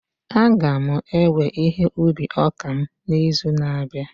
A ga m ewe ihe ubi ọka m n'izu na-abịa